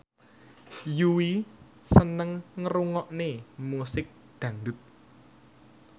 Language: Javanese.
Yui seneng ngrungokne musik dangdut